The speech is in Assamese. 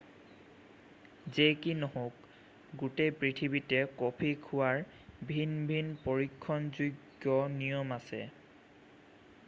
যেই কি নহওক গোটেই পৃথিৱীতে কফি খোৱাৰ ভিন ভিন পৰীক্ষণযোগ্য নিয়ম আছে